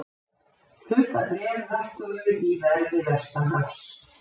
Hlutabréf lækkuðu í verði vestanhafs